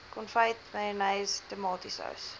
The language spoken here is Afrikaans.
konfyt mayonnaise tomatiesous